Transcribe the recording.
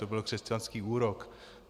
To byl křesťanský úrok.